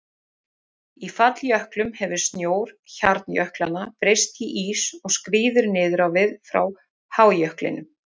Í falljöklum hefur snjór hjarnjöklanna breyst í ís og skríður niður á við frá hájöklinum.